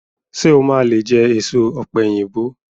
Ṣé o máa lé jẹ èso ọ̀pẹ̀yìnbo?